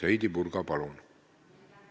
Heidy Purga, palun!